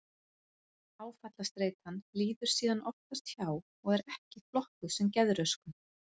Áfallastreitan líður síðan oftast hjá og er ekki flokkuð sem geðröskun.